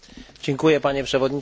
Panie Przewodniczący!